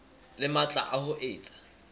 le matla a ho etsa